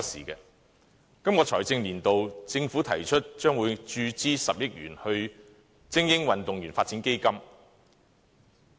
政府在本財政年度提出，將注資10億元予精英運動員發展基金。